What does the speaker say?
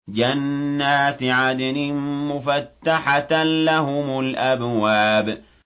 جَنَّاتِ عَدْنٍ مُّفَتَّحَةً لَّهُمُ الْأَبْوَابُ